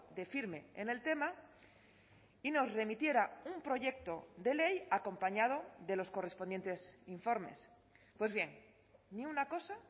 de firme en el tema y nos remitiera un proyecto de ley acompañado de los correspondientes informes pues bien ni una cosa